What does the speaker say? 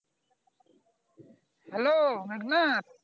Hello মাঘনা